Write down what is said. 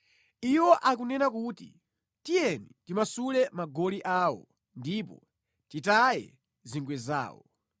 Iwo akunena kuti, “Tiyeni timasule magoli awo ndipo titaye zingwe zawo.”